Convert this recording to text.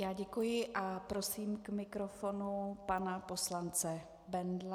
Já děkuji a prosím k mikrofonu pana poslance Bendla.